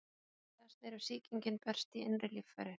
Alvarlegast er ef sýkingin berst í innri líffæri.